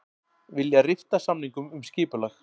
Vilja rifta samningum um skipulag